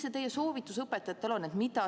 Mis teie soovitus õpetajatele on?